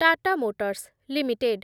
Tata Motors limited